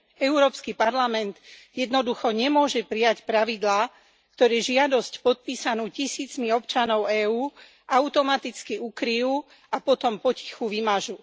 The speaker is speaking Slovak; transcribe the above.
Európsky parlament jednoducho nemôže prijať pravidlá, ktoré žiadosť podpísanú tisícmi občanov EÚ automaticky ukryjú a potom potichu vymažú.